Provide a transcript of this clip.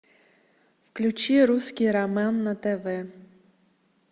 включи русский роман на тв